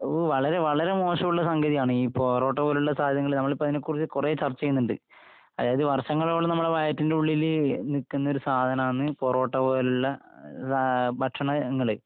ഓ... വളരെ... വളരെ മോശമുള്ള സംഗതിയാണ് ഈ പൊറോട്ട പോലുള്ള സാധനങ്ങള്. നമ്മളിപ്പോ അതിനെ കുറിച്ചു കുറേ ചർച്ച ചെയ്യുന്നുണ്ട്. അതായത് വർഷങ്ങളോളം നമ്മള വയറ്റിന്റുള്ളില് നിക്കുന്ന ഒരു സാധനമാണ് പൊറോട്ട പോലുള്ള.... ങാ... ഭക്ഷണങ്ങള്.